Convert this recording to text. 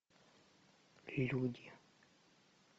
люди